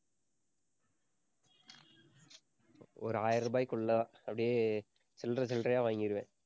ஒரு ஆயிரம் ரூபாய்க்குள்ள அப்படியே சில்லறை, சில்லறையா வாங்கிருவேன்.